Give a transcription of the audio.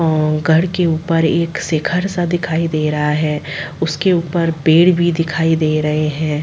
अ घर के ऊपर एक सिखर सा दिखाई दे रहा है उसके ऊपर पेड़ भी दिखाई दे रहे हैं।